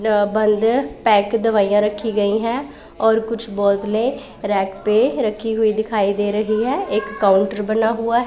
अं बंद पैक दवाईयां रखी गई है और कुछ बोतले रैक पे रखी हुई दिखाई दे रही है एक काउंटर बना हुआ--